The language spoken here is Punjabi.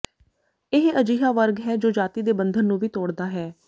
ਇਹ ਅਜਿਹਾ ਵਰਗ ਹੈ ਜੋ ਜਾਤੀ ਦੇ ਬੰਧਨ ਨੂੰ ਵੀ ਤੋੜਦਾ ਹੈ